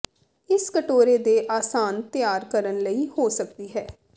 ਇਸ ਕਟੋਰੇ ਦੇ ਆਸਾਨ ਤਿਆਰ ਕਰਨ ਲਈ ਹੋ ਸਕਦੀ ਹੈ